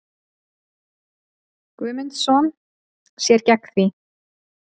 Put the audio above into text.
Guðmundsson sér gegn því.